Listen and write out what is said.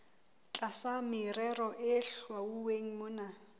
tlasa merero e hlwauweng mona